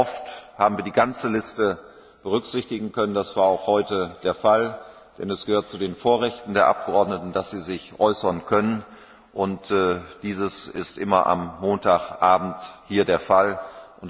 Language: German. Oft haben wir die ganze Liste berücksichtigen können das war auch heute der Fall denn es gehört zu den Vorrechten der Abgeordneten, dass sie sich äußern können, und dazu haben sie immer am Montagabend Gelegenheit.